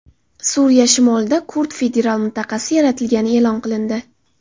Suriya shimolida kurd federal mintaqasi yaratilgani e’lon qilindi.